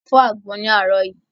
A fọ́ àgbọn láàárọ̀ yìí.